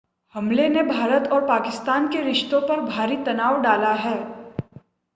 हमले ने भारत और पाकिस्तान के रिश्तों पर भारी तनाव डाला है